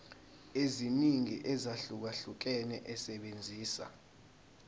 eziningi ezahlukahlukene esebenzisa